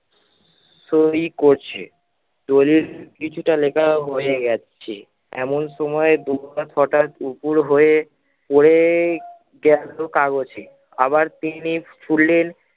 সই করছে। দলিল কিছুটা লেখা হয়ে যাচ্ছে এমন সময় দুমড়া কটা পুকুর হয়ে পরে গেলো কাগজে। আবার তিনি খুললেন